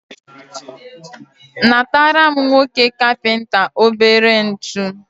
natara m nwoke kapịnta obere ntu.